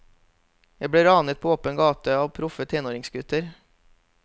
Jeg ble ranet på åpen gate av proffe tenåringsgutter.